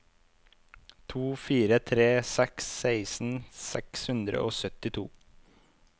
to fire tre seks seksten seks hundre og syttito